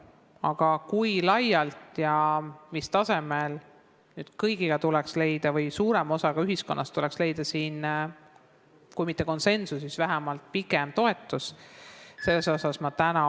Aga kui laialt seda teha ja mis tasemel, siin tuleks leida kõigiga või suurema osaga ühiskonnast kui mitte konsensus, siis tuleks vähemalt leida ühiskonna toetus.